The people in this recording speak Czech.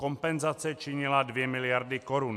Kompenzace činila 2 miliardy korun.